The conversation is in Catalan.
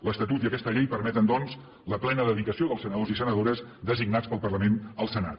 l’estatut i aquesta llei permeten doncs la plena dedicació dels senadors i senadores designats pel parlament al senat